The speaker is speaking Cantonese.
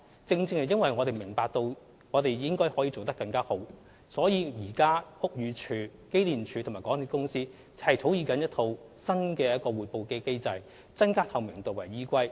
正正因為我們明白我們應可做得更好，屋宇署、機電署及港鐵公司現正草擬一套新的通報機制，以增加透明度為依歸。